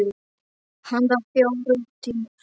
Handa fjórum til fimm